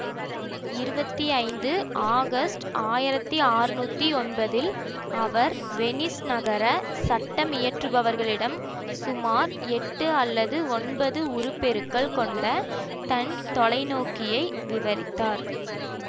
இருபத்தி ஐந்து ஆகஸ்ட் ஆயிரத்தி அறுநூற்றி ஒன்பதில் அவர் வெனிஸ் நகர சட்டமியற்றுபவர்களிடம் சுமார் எட்டு அல்லது ஒன்பது உருப்பெருக்கல் கொண்ட தன் தொலைநோக்கியை விவரித்தார்